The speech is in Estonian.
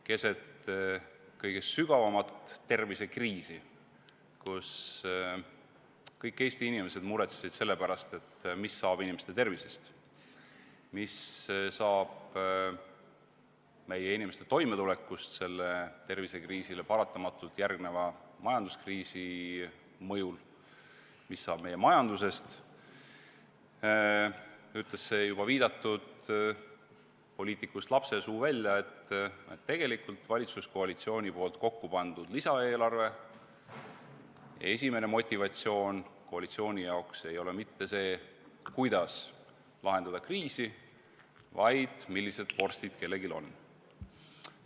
Keset kõige sügavamat tervisekriisi, kui kõik Eesti inimesed muretsesid selle pärast, mis saab inimeste tervisest, mis saab meie inimeste toimetulekust sellele tervisekriisile paratamatult järgneva majanduskriisi mõjul, mis saab meie majandusest, ütles see juba viidatud poliitikust lapsesuu välja, et tegelikult valitsuskoalitsiooni kokkupandud lisaeelarve esimene motivatsioon koalitsiooni jaoks ei ole mitte see, kuidas lahendada kriisi, vaid millised vorstid kellelgi on.